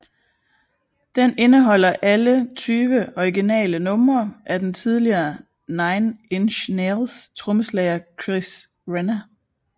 Den indeholder alle tyve originale numre af den tidligere Nine Inch Nails trommeslager Chris Vrenna